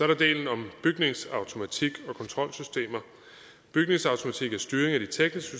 der delen om bygningsautomatik og kontrolsystemer bygningsautomatik er styring af de tekniske